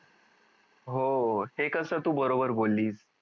हो ते कस तू बरोबर बोललीस